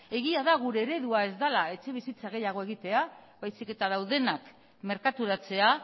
egia da gure eredua ez dela etxebizitza gehiago egitea baizik eta daudenak merkaturatzea